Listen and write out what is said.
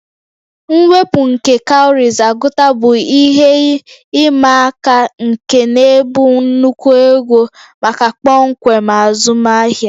Mwepu nke cowries agụta bụ ihe ịma aka nke na-ebu nnukwu ego maka kpọmkwem azụmahịa